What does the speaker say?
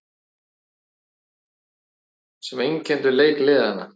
Liðin misstu boltann sitt á hvað og hnoð og hnjask einkenndu leik liðanna.